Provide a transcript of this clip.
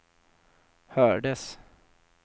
hördes